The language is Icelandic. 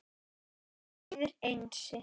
Það þýðir Einsi.